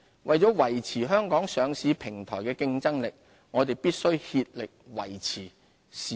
為了維持香港上市平台的競爭力，我們必須竭力維護市場質素。